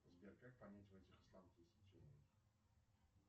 сбер как понять